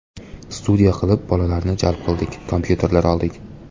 Studiya qilib bolalarni jalb qildik, kompyuterlar oldik.